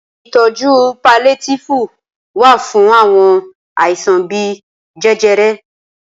Ìtọjú paliétífù wà fún àwọn àìsàn bíi jẹjẹrẹ.